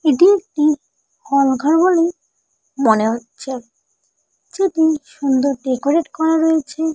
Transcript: এটি একটি হল ঘর বলে মনে হচ্ছে। সেটি সুন্দর ডেকোরেট করা রয়েছে।